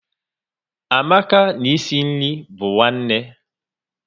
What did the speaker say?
Amaka na e si nri bu nwanne